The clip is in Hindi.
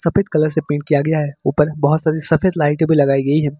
सफेद कलर से पेंट किया गया है। ऊपर बहोत सारी सफेद लाइटें भी लगाई गई हैं।